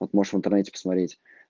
вот можешь в интернете посмотреть